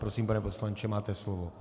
Prosím, pane poslanče, máte slovo.